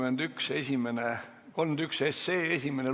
Muudatusettepanekute esitamise tähtaeg on 29. oktoober kell 17.15.